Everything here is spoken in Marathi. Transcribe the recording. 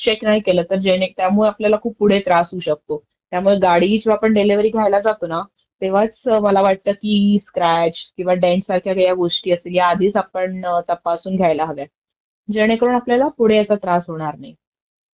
तसंच कारच्या इंटेरीअरबद्दल पण मला वाटतं आपण ते आधीचं आपण चेक करून बघायला पाहिजे. तर कारच्या आतील भाग कसा आहे त्याचं सेटींग मध्ये काही बरोबर आहेत का नाही सर्व फीचर्स, कुठेही काही अडचण दिसतं नाही.